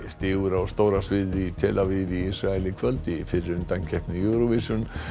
stígur á stóra sviðið í tel Aviv í Ísrael í kvöld í fyrri undankeppni Eurovision